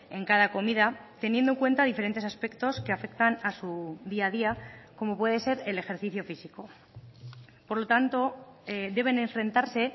en cada comida teniendo en cuenta diferentes aspectos que afectan a su día a día como puede ser el ejercicio físico por lo tanto deben enfrentarse